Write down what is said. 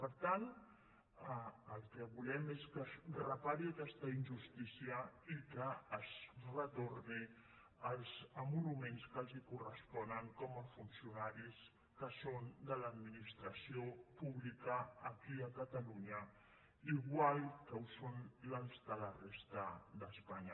per tant el que volem és que es repari aquesta injustícia i que es retornin els emoluments que els corresponen com a funcionaris que són de l’administració públi·ca aquí a catalunya igual que ho són els de la resta d’espanya